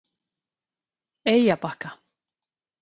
Eyjabakka